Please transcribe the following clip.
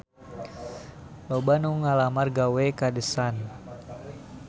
Loba anu ngalamar gawe ka The Sun